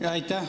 Aitäh!